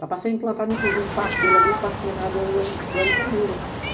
Dá para ser implantado, inclusive, parte dele ali, o Parque do Alicanduva.